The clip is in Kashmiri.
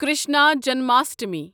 کرشنا جنماشٹمی